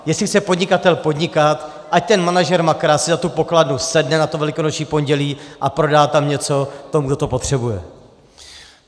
Jestli chce podnikatel podnikat, ať ten manažer Makra si za tu pokladnu sedne na Velikonoční pondělí a prodá tam něco tomu, kdo to potřebuje.